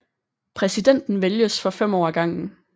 Præsidenten vælges for 5 år ad gangen